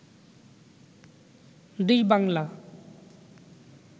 দুই বাংলা